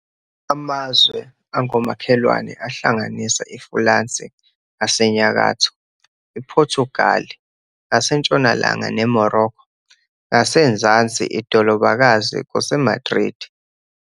Amazwe angomakhelwane ahlanganisa iFulansi ngasenyakatho, iPhothugali ngasentshonalanga neMorokho ngasenzansi. iDholobakazi kuse-Madridi.